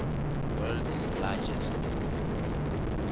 world s largest